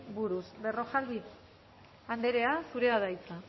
buruz berrojalbiz andrea zurea da hitza